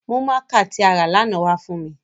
Mu mạạka ti a ra lana wa fun mi!